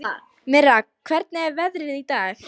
Mirra, hvernig er veðrið í dag?